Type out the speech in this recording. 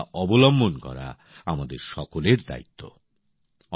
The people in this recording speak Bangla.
সর্তকতা অবলম্বন করা আমাদের সকলের দায়িত্ব